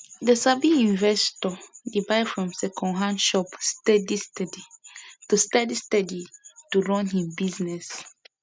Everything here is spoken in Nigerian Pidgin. the sabi investor dey buy from secondhand shop steady steady to steady steady to run him business